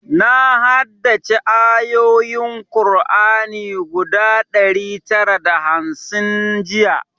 Na haddace ayoyin kur'ani guda ɗari tara da hamsin jiya